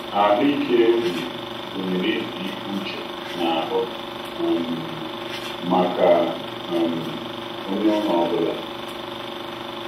Ahụ́ ike ubi gụnyere izu ike uche na ahụ um maka um onye ọrụ ọ bụla.